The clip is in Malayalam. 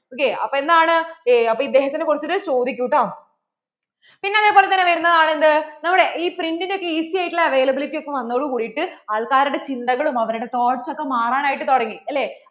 ok അപ്പോൾ എന്താണ് അപ്പോൾ ഇദ്ദേഹത്തിനെ കുറിച്ചിട്ട് ചോദികൂട്ടോ, പിന്നേ അതേപോലെതന്നെ വരുന്നത് ആണ് എന്ത്? നമ്മുടെ ഈ print ഒക്കെ easy ആയിട്ടുള്ള availability ഒക്കെ വന്നതോട് കൂടിയിട്ട് ആള്‍ക്കാരുടെ ചിന്തകളും അവരുടെ toughts ഒക്കെ മാറാൻ ആയിട്ട് തുടങ്ങി അല്ലേ